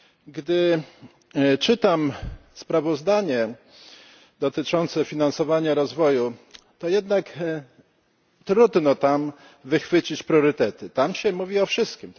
Gdy czytam sprawozdanie dotyczące finansowania rozwoju, to jednak trudno tam wychwycić priorytety tam się mówi o wszystkim.